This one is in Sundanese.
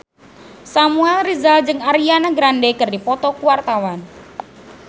Samuel Rizal jeung Ariana Grande keur dipoto ku wartawan